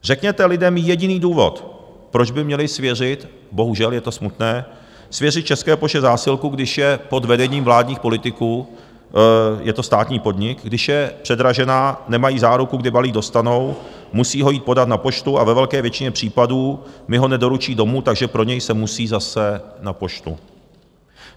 Řekněte lidem jediný důvod, proč by měli svěřit - bohužel je to smutné - svěřit České poště zásilku, když je pod vedením vládních politiků, je to státní podnik, když je předražená, nemají záruku, kdy balík dostanou, musí ho jít podat na poštu a ve velké většině případů mi ho nedoručí domů, takže pro něj se musí zase na poštu.